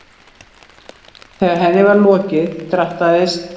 Þegar henni var lokið drattaðist